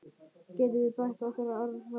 Getum við bætt okkar orðfæri?